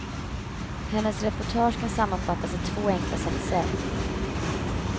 Hennes reportage kan sammanfattas i två enkla satser.